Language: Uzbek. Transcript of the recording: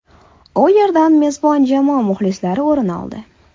U yerdan mezbon jamoa muxlislari o‘rin oldi.